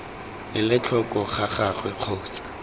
ele tlhoko ga gagwe kgotsa